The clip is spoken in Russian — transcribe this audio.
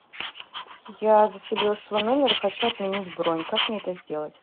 я заселилась в свой номер и хочу отменить бронь как мне это сделать